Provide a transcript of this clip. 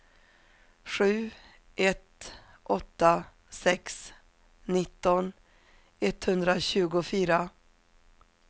sju ett åtta sex nitton etthundratjugofyra